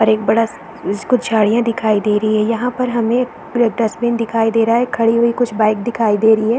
और एक बड़ा स- कुछ गाड़िया दिखाई दे रही है यहाँ पर हमें डस्टबिन दिखाई दे रहा है खड़ी हुई कुछ बाइक दिखाई दे रही है।